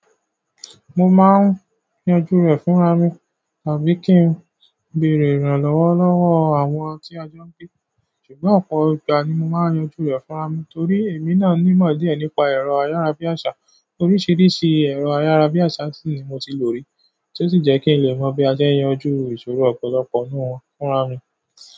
Mo máa ń yanjú rẹ̀ fúnra mi tàbí kí n béèrè ìrànlọ́wọ́ lọ́wọ́ àwọn tí a jẹ́ ń gbé, ṣùgbọ́n ọ̀pọ̀ ìgbà ni mo máa ń yanjú rẹ̀ fúnra mi torí èmi náà nímọ̀ díẹ̀ nípa ẹ̀rọ ayárabíàṣá. Oríṣiríṣi ẹ̀rọ ayárabíàṣá sì ni mo ti lò rí, tí ó sì jẹ́ kí n le mọ bí a ṣe ń yanjú ìṣòro ọ̀pọ̀lọpọ̀ nínú wọn fúnra mi.